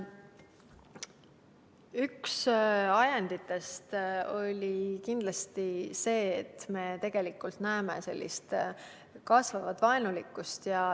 Üks ajenditest oli kindlasti see, et me näeme sellist kasvavat vaenulikkust.